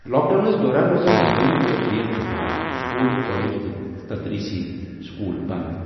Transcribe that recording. Lock downs دوران روزن ہوٲیی تہٕ ریل خٔدمات، سکوٗل، کالج تہٕ تدریس سکول بنٛد۔